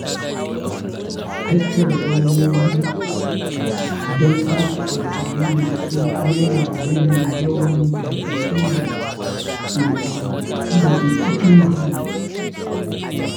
Tattara robobi don sake amfani da su yana rage yawan tarkacen da ke cika muhalli.